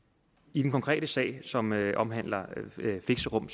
i den konkrete sag som omhandler fixerum